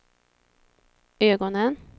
ögonen